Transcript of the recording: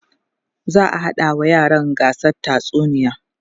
za'a haɗa wa yaran gasar tatsuniya